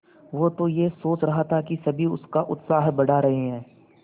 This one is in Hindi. वो तो यह सोच रहा था कि सभी उसका उत्साह बढ़ा रहे हैं